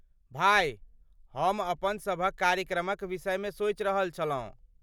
भाय, हम अपनसभक कार्यक्रमक विषयमे सोचि रहल छलहुँ।